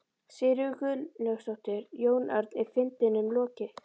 Sigríður Guðlaugsdóttir: Jón Örn, er fundinum lokið?